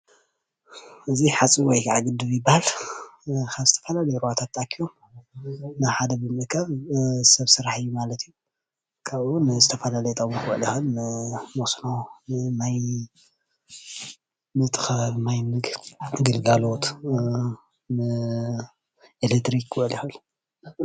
እዚ ሓፅቢ ወይ ከዓ ግድብ ይባሃል፡፡ ካብ ዝተፈላለዩ ሩባታት ተኣኪቦም ናብ ሓደ ብምእካብ ሰብ ስራሕ እዩ ማለት እዩ፡፡ ካብኡ ዝተፈላለዩ ጥቅሚ ክውዕል ይክእል እዩ፡፡ ንመስኖ፣ ነቲ ከባቢ ማይ ግልጋሎት፣ ንኤሌትሪክን ክውዕል ይክእል ፡፡